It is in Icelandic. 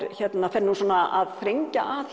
fer svona að þrengja að